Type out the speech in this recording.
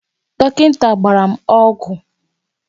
Dọkịnta gbara m ọgwụ.